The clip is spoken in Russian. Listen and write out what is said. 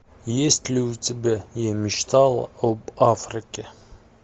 есть ли у тебя я мечтала об африке